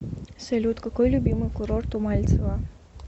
салют какой любимый курорт у мальцева